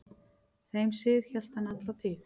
Þeim sið hélt hann alla tíð.